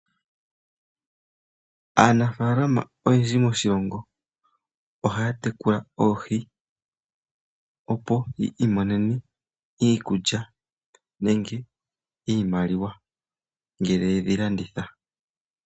Aanafaalama oyendji moshilongo oha ya tekula oohi opo yi imonene iikulya nenge iimaliwa ngele ye dhi landitha.